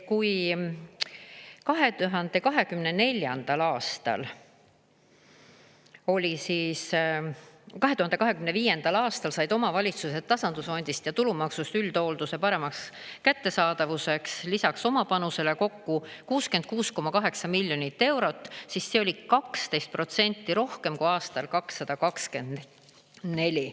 Kui 2025. aastal said omavalitsused tasandusfondist ja tulumaksust üldhoolduse paremaks kättesaadavuseks lisaks oma panusele kokku 66,8 miljonit eurot, siis see oli 12% rohkem kui aastal 2024.